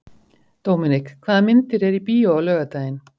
Dominik, hvaða myndir eru í bíó á laugardaginn?